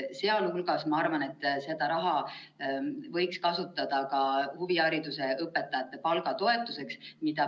Sealhulgas ma arvan, et seda raha võiks kasutada ka huvihariduse õpetajate palgatoetuseks.